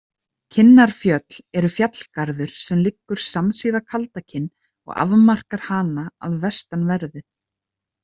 Kinnarfjöll eru fjallgarður sem liggur samsíða Kaldakinn og afmarkar hana að vestanverðu.